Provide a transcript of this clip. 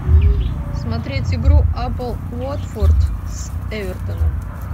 смотреть игру апл уотфорд с эвертоном